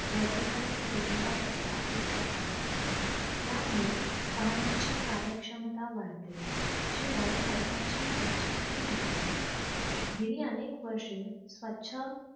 वर्गीकरण केलेला कचरा उचलत आहेत. या मुले वाहनांची कार्यक्षमता वाढते शिवाय खर्चाची बचतही होते. गेली अनेक वर्षे स्वछ